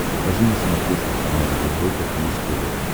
покажи на смотрешке канал европа плюс тв